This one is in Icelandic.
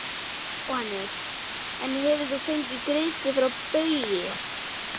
Jóhannes: En hefur þú fengið greiðslur frá Baugi?